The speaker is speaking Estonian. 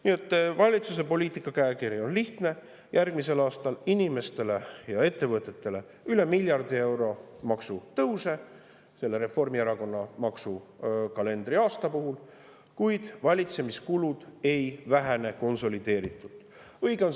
Nii et valitsuse poliitikakäekiri on lihtne: järgmisel aastal inimestele ja ettevõtetele üle miljardi euro maksutõuse selle Reformierakonna maksuaasta puhul, kuid valitsemiskulud konsolideeritult ei vähene.